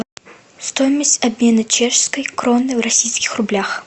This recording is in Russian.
стоимость обмена чешской кроны в российских рублях